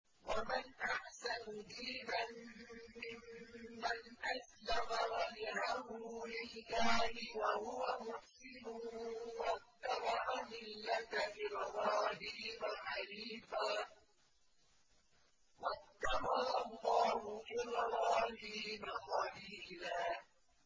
وَمَنْ أَحْسَنُ دِينًا مِّمَّنْ أَسْلَمَ وَجْهَهُ لِلَّهِ وَهُوَ مُحْسِنٌ وَاتَّبَعَ مِلَّةَ إِبْرَاهِيمَ حَنِيفًا ۗ وَاتَّخَذَ اللَّهُ إِبْرَاهِيمَ خَلِيلًا